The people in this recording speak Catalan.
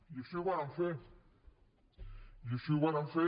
i així ho vàrem fer i així ho vàrem fer